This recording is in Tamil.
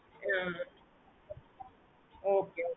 okay mam